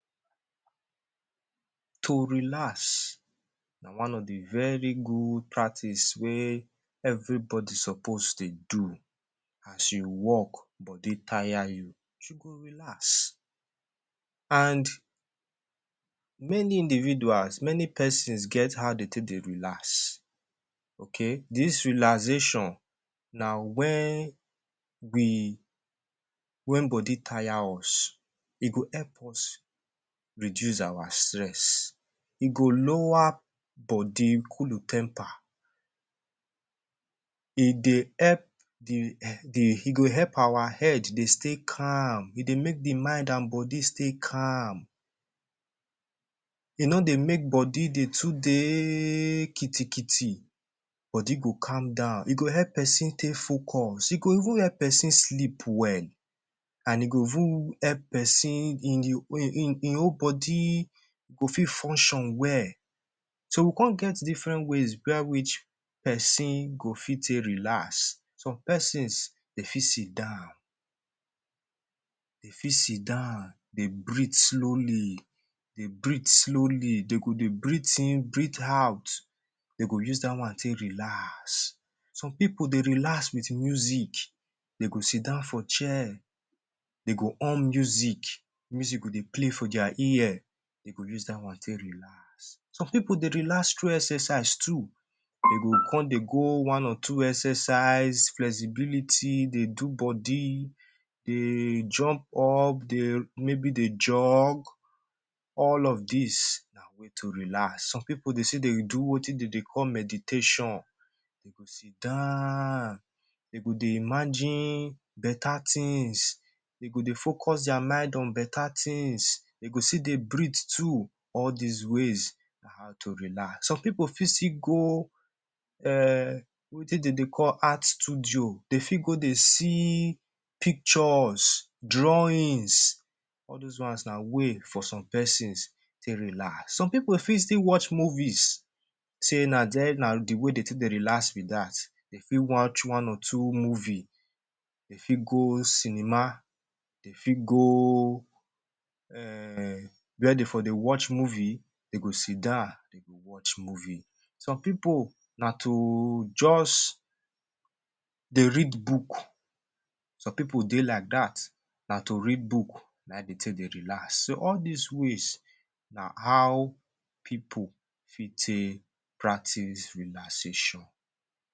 To relax na one of the very good practice wey everybody suppose dey do. As you work, body taya you, you go relax. And many individuals, many pesons, get how de take dey relax, okay? Dis relaxation na wen we wen body taya us. E go help us reduce our stress. E go lower body, cool temper, e dey help the the e go help our head dey stay calm, e dey make the mind an body stay calm. E no dey make body dey too dey kitikiti; body go calm down. E go help peson take focus, e go even help peson sleep well, an e go even help peson in the ein ein whole body go fit function well. So we con get different ways where which peson go fit take relax. Some peson, de fit sit down. De fit sit down, dey breathe slowly, de breathe slowly. De go dey breathe in, breathe out. De go use dat one take relax. Some pipu dey relax with music. De go sit down for chair, de go on music. Music go dey play for dia ear, de go use dat one take relax. Some pipu dey relax through exercise too. De go con dey go one or two exercise, flexibility, dey do body, dey jump up, de maybe dey jog, all of dis na way to relax. Some pipu dey say de do wetin de dey call meditation. De go sit down, de go dey imagine beta tins, de go dey focus dia mind on beta tins, de go still dey breathe too. All dis ways na how to relax. Some pipu fit still go um wetin de dey call Art Studio. De fit go dey see pictures, drawings. All dos ones na way for some pesons take relax. Some pipu fit still watch movies sey na there na the way de take dey relax be dat. De fit watch one or two movie, de fit go cinema, de fit go um where de for dey watch movie, de go sit down, de go watch movie. Some pipu, na to juz dey read book. Some pipu dey like dat. Na to read book, na ein de take dey relax. So all dis ways na how pipu fit take practice relaxation.